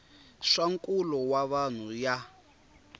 swa nkulo wa vanhu ya